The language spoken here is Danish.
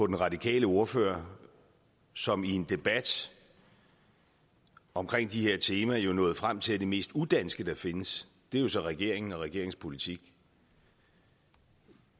den radikale ordfører som i en debat omkring de her temaer nåede frem til at det mest udanske der findes jo så er regeringen og regeringens politik